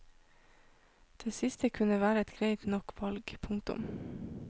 Det siste kunne være et greit nok valg. punktum